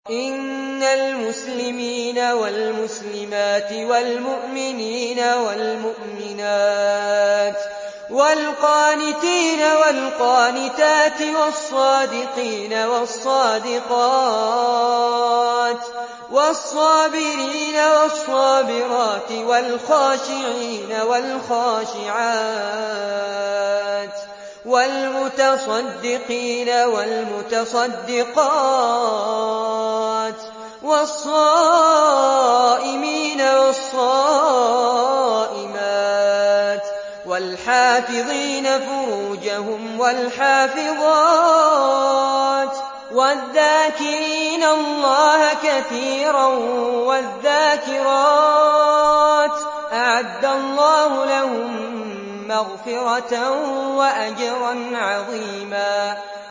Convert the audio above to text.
إِنَّ الْمُسْلِمِينَ وَالْمُسْلِمَاتِ وَالْمُؤْمِنِينَ وَالْمُؤْمِنَاتِ وَالْقَانِتِينَ وَالْقَانِتَاتِ وَالصَّادِقِينَ وَالصَّادِقَاتِ وَالصَّابِرِينَ وَالصَّابِرَاتِ وَالْخَاشِعِينَ وَالْخَاشِعَاتِ وَالْمُتَصَدِّقِينَ وَالْمُتَصَدِّقَاتِ وَالصَّائِمِينَ وَالصَّائِمَاتِ وَالْحَافِظِينَ فُرُوجَهُمْ وَالْحَافِظَاتِ وَالذَّاكِرِينَ اللَّهَ كَثِيرًا وَالذَّاكِرَاتِ أَعَدَّ اللَّهُ لَهُم مَّغْفِرَةً وَأَجْرًا عَظِيمًا